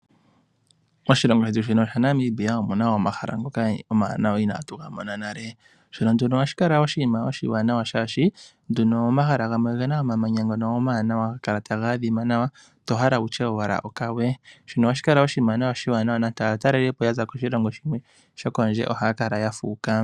Moshilongo shetu Namibia omuna omahala ogendji omawanawa inaatu ga mona nale . Ohashi kala oshinima oshiwanawa shaashi omahala ngono ogena omamanya omawuwanawa haga kala taga ahima nawa toti ashike okawe. Ohashikala oshinima oshiwanawa shaashi nande aatalelipo ya za kondje yiilongo ohaya kala yafuuka.